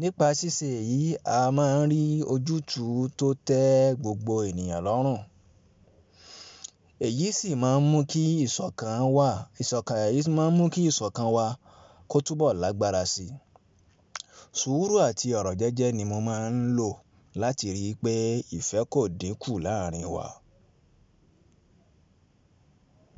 Nípa ṣíṣe yìí, a máa ń rí ojútùú tó tẹ́ gbogbo ènìyàn lọ́rùn, èyí sì máa ń mú kí ìṣọ̀kan wa kó túbọ̀ lágbára síi. Sùúrù àti ọ̀rọ̀ jẹ́jẹ́ ni mo máa ń lò láti rí pé ìfẹ́ kò dínkù láàrin wa.